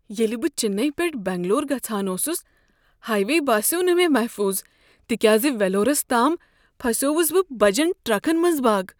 ییٚلہ بہ چنئی پیٹھٕ بنگلور گژھان اوسس ،ہایوے باسیوٚو نہٕ مےٚ محفوظ تکیازِ ویلورس تام پھسیوس بہ بجن ٹرکن منز باگ۔